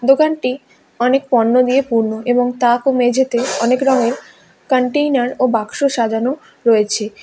দোকানটি অনেক পণ্য দিয়ে পূর্ণ এবং তাক ও মেঝেতে অনেক রঙের কন্টেইনার ও বাক্স সাজানো রয়েছে।